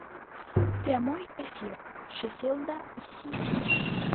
прямой эфир шеффилда и сити